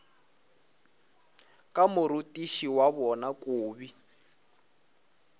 ka morutiši wa bona kobi